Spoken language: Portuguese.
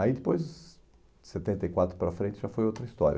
Aí depois, de setenta e quatro para frente, já foi outra história.